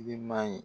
Giriman ye